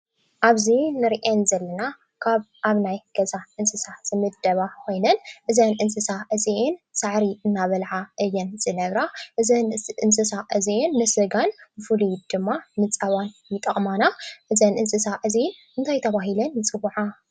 ኣብዚ ነርአን ዘለና ካብ ኣብ ናይ ገዛ እንስሳት ዝምደባ ኾይነን እዘን እንስሳ እዚአን ሳዕሪ እንዳበላዓ እየን ዝነብራ እዘን እንስሳ እዚአን ንስጋን ንፉሉዩ ድማ ንፀባን ይጠቕማና። እዘን እንስሳ እዚአን እንታይ ተባሂለን ይፅዋዓ?